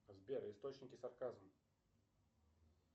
сбер источники сарказм